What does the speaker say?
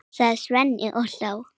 sagði Svenni og hló.